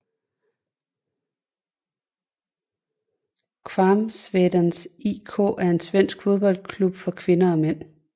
Kvarnsvedens IK er en svensk fodboldklub for kvinder og mænd